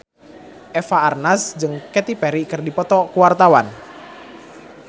Eva Arnaz jeung Katy Perry keur dipoto ku wartawan